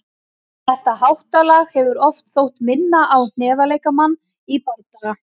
Þetta háttalag hefur oft þótt minna á hnefaleikamann í bardaga.